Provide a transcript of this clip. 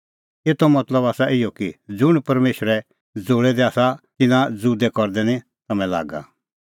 ज़ुंण परमेशरै ज़ोल़ै दै आसा तिन्नां ज़ुदै करदै निं तम्हैं लागा